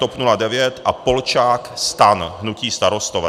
TOP 09 a Polčák - STAN - hnutí Starostové.